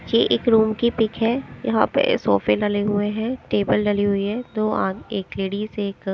यह एक रूम की पिक है यहां पे सोफे डले हुए हैं टेबल डली हुई है दो आ एक लेडीज एक--